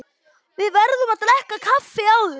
Við verðum að drekka kaffi áður.